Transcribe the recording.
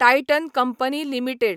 Titan company limited